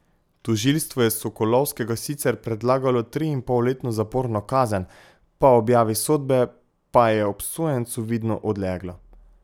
Tožilstvo je Sokolovskega sicer predlagalo triinpolletno zaporno kazen, po objavi sodbe pa je obsojencu vidno odleglo.